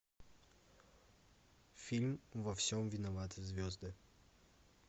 фильм во всем виноваты звезды